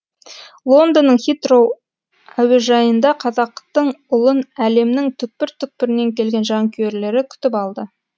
лондонның хитроу әуежайында қазақтың ұлын әлемнің түкпір түкпірінен келген жанкүйерлері күтіп алды